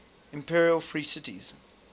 imperial free cities